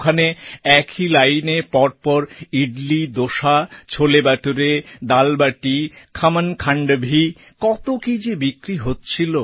ওখানে একই লাইনে পর পর ইডলি দোসা ছোলে বাটোরে দাল বাটি খমনখান্ডভি কত কীই যে বিক্রি হচ্ছিল